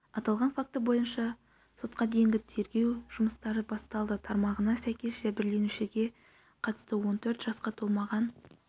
аталған факті бойынша сотқа дейінгі тергеу жұмыстары басталды тармағына сәйкес жәбірленушіге қатысты он төрт жасқа толмаған